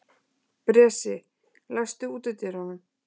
Bresi, læstu útidyrunum.